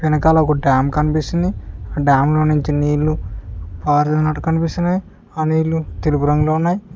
వెనకాల ఒక డ్యామ్ కనిపిస్తుంది ఆ డ్యాంలో నుంచి నీళ్లు పారినట్టు కనిపిస్తున్నాయి ఆ నీళ్లు తెలుపు రంగులో ఉన్నాయ్.